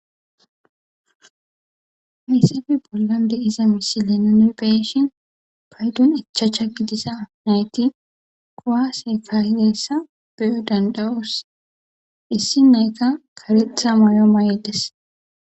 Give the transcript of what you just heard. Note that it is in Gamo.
Ha misilen nuni be'ishin paydon ichacha gidida nayti kuwase kaa'izaysa danda'os issi na'ayka karetha mayo aathides.